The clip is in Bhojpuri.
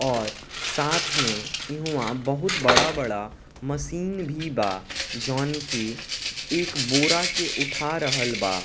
और साथ में इहवाँ बहुत बड़ा-बड़ा मशीन भी बा जोवन की एक बोरा के उठा रहल बा।